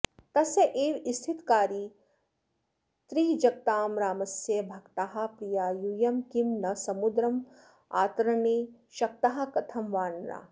तस्यैव स्थितिकारिणस्त्रिजगतां रामस्य भक्ताः प्रिया यूयं किं न समुद्रमात्रतरणे शक्ताः कथं वानराः